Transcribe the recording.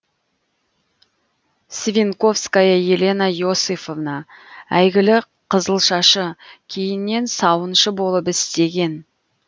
свинковская елена иосифовна әйгілі қызылшашы кейіннен сауыншы болып істеген